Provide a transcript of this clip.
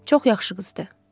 Çox yaxşı qız idi.